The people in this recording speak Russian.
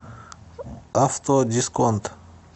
авто дисконт